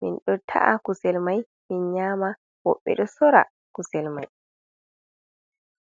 min ɗo ta’a kusel mai min nyama woɓɓe ɗo sora kusel mai.